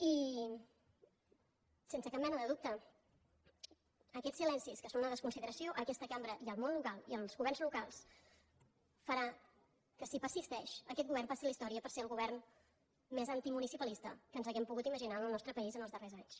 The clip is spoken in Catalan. i sense cap mena de dubte aquests silencis que són una desconsideració a aquesta cambra i al món local als governs locals faran que si persisteixen aquest govern passi a la història per ser el govern més antimunicipalista que ens hàgim pogut imaginar en el nostre país els darrers anys